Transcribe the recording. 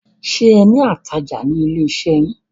Ṣé ẹ ní atajà ní ilé iṣẹ́ yín?